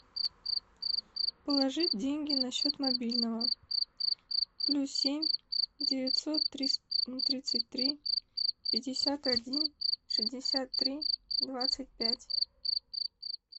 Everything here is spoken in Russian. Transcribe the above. положить деньги на счет мобильного плюс семь девятьсот тридцать три пятьдесят один шестьдесят три двадцать пять